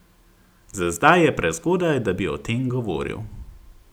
Za zdaj je prezgodaj, da bi o tem govoril.